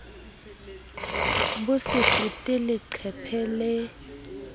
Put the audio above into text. bo se fete leqephe le